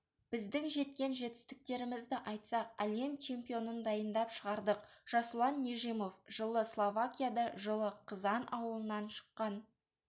біздің жеткен жетістіктерімізді айтсақ әлем чемпионын дайындап шығардық жасұлан нежимов жылы словакияда жылы қызан ауылынан шыққан